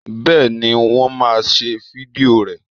Bẹ́ẹ̀ ni, wọ́n máa ṣe fídíò rẹ